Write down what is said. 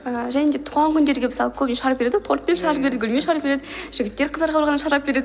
ааа және де туған күндерге мысалы көбінесе шар береді ғой торт пен шар береді гүл мен шар береді жігіттер қыздарға барғанда шар әпереді